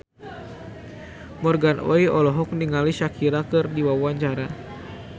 Morgan Oey olohok ningali Shakira keur diwawancara